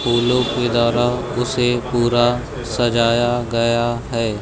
फूलों के उसे पूरा सजाया गया है।